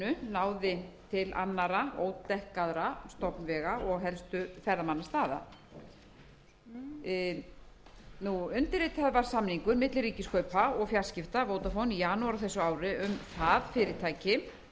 á gsm farsímanetinu náði til annarra stofnvega og helstu ferðamannastaða undirritaður var samningur milli ríkiskaupa og fjarskipta og vodafone í janúar á þessu ári um að það fyrirtæki tæki að sér verkefni það